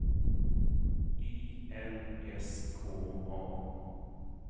I L S K A